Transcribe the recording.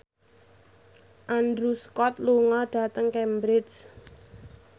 Andrew Scott lunga dhateng Cambridge